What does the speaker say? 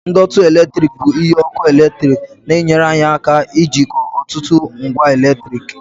ndọtị eletrik bụ ihe ọkụ eletrik na-enyere anyị aka ijikọ ọtụtụ ngwa eletrik